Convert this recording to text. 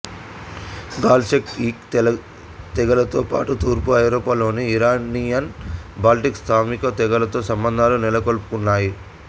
gall Celtic తెగలతో పాటు తూర్పు ఐరోపా లోని ఇరానియన్ బాల్టిక్ స్లావిక తెగలతో సంబంధాలు నెలకొల్పుకున్నాయి